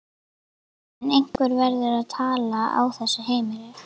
En einhver verður að tala á þessu heimili.